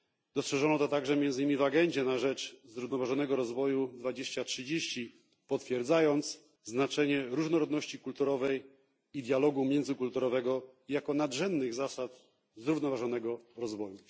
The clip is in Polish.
Dostrzeżono to także między nimi w agendzie na rzecz zrównoważonego rozwoju 2030, potwierdzając znaczenie różnorodności kulturowej i dialogu międzykulturowego jako nadrzędnych zasad zrównoważonego rozwoju.